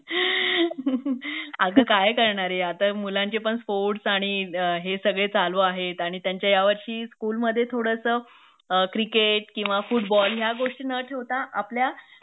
अगं काय करणारे आता मुलांचे पण स्पोर्ट्स आणि हे सगळे चालू आहेत आणि त्यांचे यावर्षी स्कूलमध्ये थोडस क्रिकेट किंवा फुटबॉल ह्या गोष्टी न ठेवता आपल्या